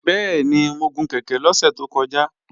Bẹ́ẹ̀ni, mo gun kèké lọ́sẹ̀ tó kọjá